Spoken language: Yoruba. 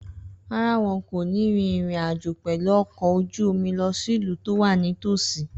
Rárá, wọn kò ní rin ìrìn àjò pẹ̀lú ọkọ̀ ojú omi lọ sí ìlú tó wà nítòsí